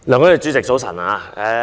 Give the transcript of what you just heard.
梁君彥主席，早晨。